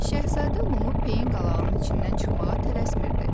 Şahzadə Lumu peyin qalağının içindən çıxmağa tələsmirdi.